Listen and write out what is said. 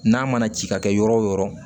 N'a mana ci ka kɛ yɔrɔ o yɔrɔ